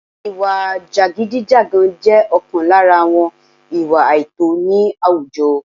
ìwà jàgídíjàgan jẹ́ ọ̀kan lára àwọn ìwà àìtọ̀ ní àwùjọ